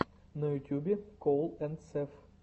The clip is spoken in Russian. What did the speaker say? на ютьюбе коул энд сэв